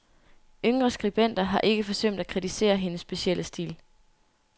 Yngre skribenter har ikke forsømt at kritisere hendes specielle stil.